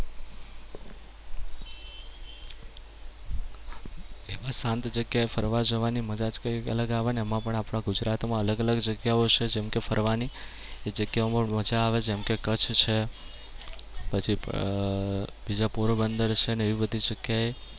એમાં શાંત જગ્યાએ ફરવા જવાની મજા જ કઈ અલગ આવે અને એમાં પણ આપણાં ગુજરાતમાં અલગ અલગ જગ્યાઓ છે જેમ કે ફરવાની. ત્યાં બવ મજા આવે. જેમ કે કચ્છ છે, પછી અમ બીજી પોરબંદર છે અને એવી બધી જગ્યાએ